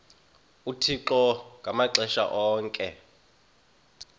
uthixo ngamaxesha onke